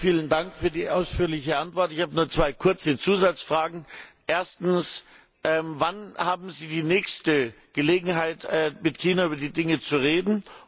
Herr Präsident, vielen Dank für die ausführliche Antwort! Ich habe nur zwei kurze Zusatzfragen. Erstens Wann haben Sie die nächste Gelegenheit, mit China über die Dinge zu reden?